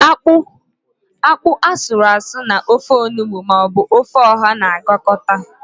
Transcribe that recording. Ákpú asụrụasụ na-ofe onugbo maọbụ ofe ọha na-agakọta.